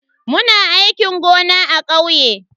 Muna aikin gona a kauye.